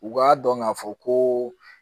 U k'a dɔn k'a fɔ koo